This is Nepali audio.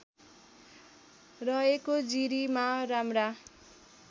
रहेको जिरीमा राम्रा